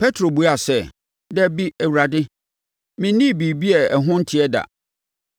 Petro buaa sɛ, “Dabi, Awurade, mennii biribiara a ɛho nteɛ da.”